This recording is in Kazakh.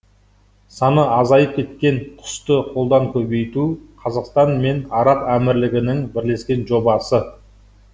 саны азайып кеткен құсты қолдан көбейту қазақстан мен араб әмірлігінің бірлескен жобасы